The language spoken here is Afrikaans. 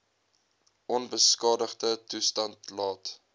onbeskadigde toestand laat